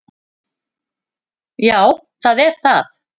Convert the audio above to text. Já, það var það.